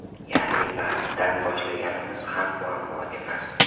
Ya’ni pastdan boshlaganimiz ham muammo emas.